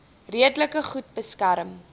redelik goed beskerm